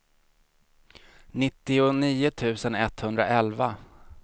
nittionio tusen etthundraelva